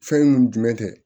Fɛn mun jumɛn tɛ